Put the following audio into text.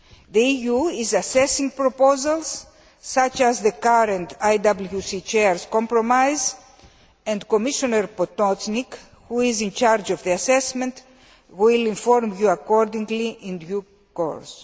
The EU is assessing proposals such as the current IWC Chair's compromise, and Commissioner Potočnik, who is in charge of the assessment, will inform you accordingly in due course.